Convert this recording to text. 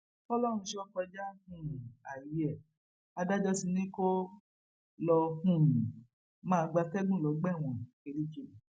fọlọrunṣọ kọjá um ààyè ẹ adájọ ti ní kó lọọ um máa gbatẹgùn lọgbà ẹwọn kirikiri